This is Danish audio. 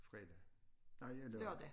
Fredag nej ja lørdag